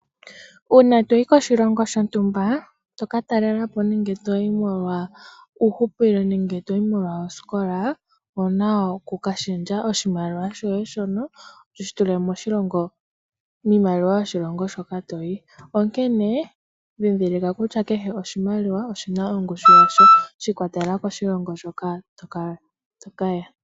Uuna toyi koshilongo shontumba tokatalelapo nenge uuhupilo nemge toyi molwa osikola, owuna oku kashendja oshimaliwa shoye shono wushi tulemoshimaliwa shoshilongo shoka toyi. Onkene dhidhilika kutya kehe oshimaliwa oshina ongushu yasho shiikwatelela koshilongo shoka tokaya.